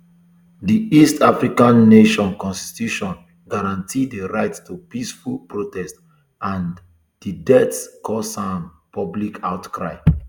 di east african um nation constitution guarantee di right to peaceful protest and di deaths cause a um public outcry